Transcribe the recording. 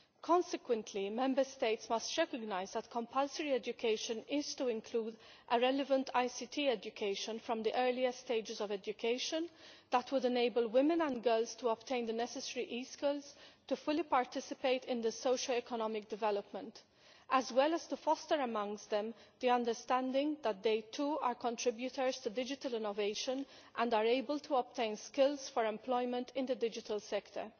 Consequently, Member States must recognise that compulsory education is to include a relevant ICT education from the earlier stages of education that will enable women and girls to obtain the necessary e skills to fully participate in socio economic development, as well as to foster amongst them the understanding that they, too, are contributors to digital innovation and are able to obtain skills for employment in the digital sector.